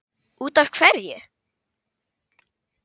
Út af hverju?